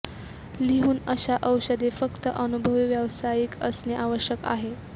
लिहून अशा औषधे फक्त अनुभवी व्यावसायिक असणे आवश्यक आहे